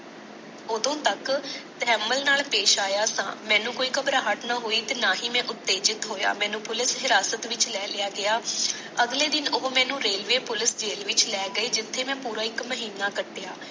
ਓਦੋ ਤੱਕ ਮੈ ਤਹੱਮਲ ਨਾਲ ਪੇਸ਼ ਆਇਆ ਸਾ ਮੈਨੂੰ ਕੋਈ ਕਬ੍ਰਹਟ ਨਾ ਹੋਇ ਤੇ ਨਾ ਹੀ ਮੈ ਉਤੇਜਿਤ ਹਿਆ ਮੈਨੂੰ ਪੁਲਿਕ ਹਿਰਾਸਤ ਵਿਚ ਲੈ ਲਿਆ ਗਏ ਅਗਲੇ ਦਿਨ ਉਹ ਮੈਨੂੰ ਰੇਲਵੇ ਪੁਲਿਕ ਵਿਚ ਲੈ ਗਏ ਜਿਤੇ ਮੈ ਇਕ ਪੂਰਾ ਮਹੀਨਾ ਕਾਹਟਿਆਂ